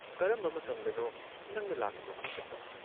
ꯀꯔꯝꯕ ꯃꯇꯝꯗꯅꯣ ꯅꯪꯅ ꯂꯥꯛꯈꯤꯕ ꯈꯣꯡꯆꯠꯇꯣ?